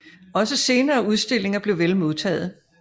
Også senere udstillinger blev vel modtaget